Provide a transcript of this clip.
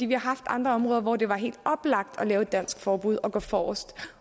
vi har haft andre områder hvor det var helt oplagt at lave et dansk forbud og gå forrest